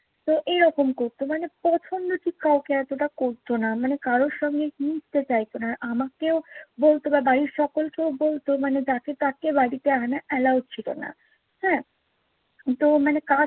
তো এইরকম করতো। মানে পছন্দ ঠিক কাউকে এতটা করত না। মানে কারো সঙ্গে মিশতে চাইতো না। আমাকেও বলতো বা বাড়ির সকলকেও বলতো মানে যাকে তাকে বাড়িতে আনা allow ছিলো না। হাঁ তো মানে কাস্ট